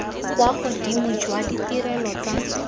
kwa godimo jwa ditirelo tsa